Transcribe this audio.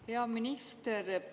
Hea minister!